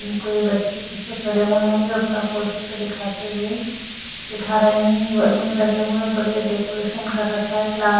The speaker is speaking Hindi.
उनको ये बच्चे पीछे खड़े हुए हैं जो अपना प्रोजेक्ट दिखाते हुए दिखा रहे हैं वॉल्यूम लगे हुए बढ़िया डेकोरेशन कर रखा है क्लास --